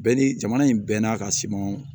Bɛɛ ni jamana in bɛn n'a ka siman